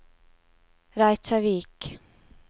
Reykjavík